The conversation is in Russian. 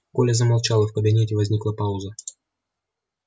коля замолчал и в кабинете возникла пауза